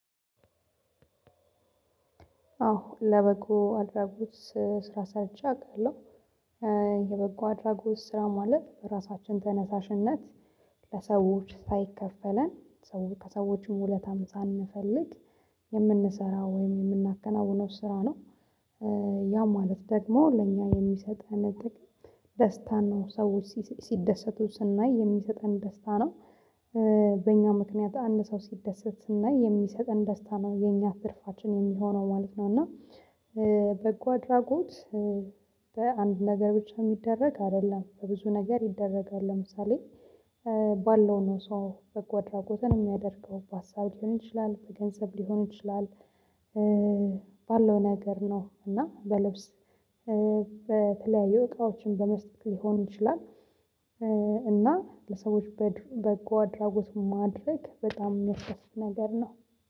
አዎ ለበጎ አድራጎት ስራ ሰርቸ አቃለው አድራጎት ስራ ማለት ራሳችን ተነሳሽነት ለሰዎች ሳይከፈለን ከሰዎችም ውለታም ሳንፈልግ የምንሰራ ወይም የምናከናውነው ስራ ነው። ያ ማለት ደግሞ ለእኛ የሚሰጥነ ጥቅም ደስታን ነው ሰዎች ሲደሰቱ ስናይ የሚሰጠን ደስታ ነው። በእኛ ምክንያት አንድ ሰው ሲደሰት ስናይ የሚሰጠን ደስታ ነው የኛ ትርፋችን የሚሆነው ማለት ነው እና። በጎ አድራጎት። በአንድ ነገር ብቻ እሚደረግ አደለም በብዙ ነገር ይደረጋል ለምሳሌ። ባለው ነው ሰው በጎ አድራጎትን እሚያደርገው በአሳብ ሊሆን ይችላል በገንዘብ ሊሆን ይችላል። ባለው ነገር ነው እና በልብስ በተለያዩ እቃዎችን በመስጠት ሊሆን ይችላል። እና ለሰዎች በጎ አድራጎት ማድረግ በጣም ሚያስደስት ነገር ነው